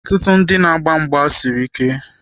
Ọtụtụ ndị na-agba mgba siri ike.